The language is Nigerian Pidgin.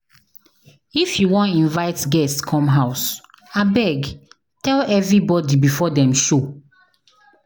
If you wan invite guest come house, abeg tell everybody before dem show.